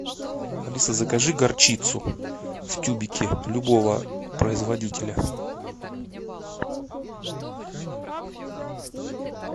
алиса закажи горчицу в тюбике любого производителя